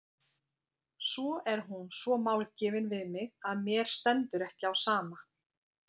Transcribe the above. Svo er hún svo málgefin við mig að mér stendur ekki á sama.